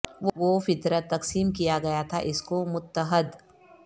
وہ فطرت تقسیم کیا گیا تھا اس کو متحد